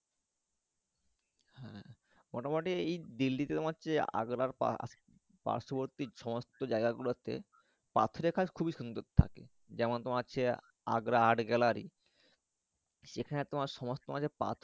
হ্যাঁ মোটামুটি এই দিল্লিতে তোমার হচ্ছে আগ্রার পার্শবর্তী সমস্ত জাগা গুলোতে পাথরের কাজ খুবই সুন্দর থাকে যেমন তোমার হচ্ছে আগ্রা Art Gallery সেখানে তোমার সমস্ত পাথর।